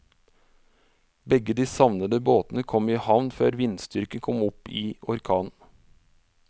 Begge de savnede båtene kom i havn før vindstyrken kom opp i orkan.